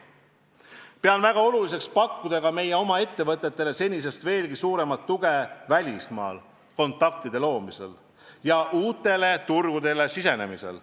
Pean väga oluliseks pakkuda meie oma ettevõtetele senisest veelgi suuremat tuge välismaal kontaktide loomisel ja uutele turgudele sisenemisel.